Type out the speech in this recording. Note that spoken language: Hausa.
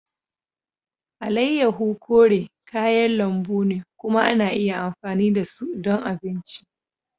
Alayyahu kore kayan lambu ne kuma ana iya amfani da su ɗon abinci.